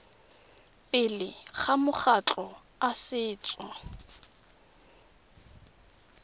pele ga makgotla a setso